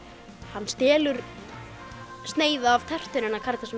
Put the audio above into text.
hann stelur sneið af tertunni hennar Karítasar